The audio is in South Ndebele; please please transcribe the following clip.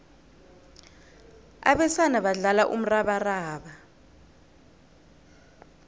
abesana badlala umrabaraba